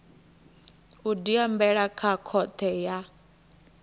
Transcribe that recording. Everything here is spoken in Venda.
u diambela kha khothe ya